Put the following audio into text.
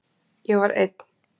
Ég var einn.